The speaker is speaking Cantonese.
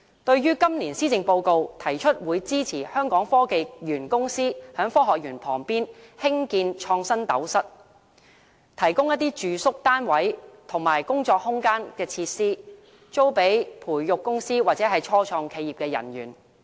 對於今年施政報告提出會支持香港科技園公司在科學園旁邊興建"創新斗室"，提供住宿單位和工作空間等設施，租予培育公司或初創企業的人員。